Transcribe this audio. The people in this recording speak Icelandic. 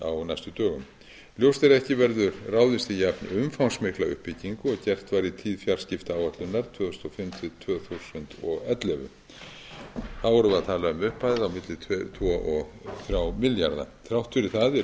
á næstu dögum ljóst er að ekki verður ráðist í jafn umfangsmikla uppbyggingu og gert var í tíð fjarskiptaáætlunar tvö þúsund og fimm til tvö þúsund og ellefu þá vorum við að tala um upphæðir á milli tveggja og þriggja milljarða þrátt fyrir það er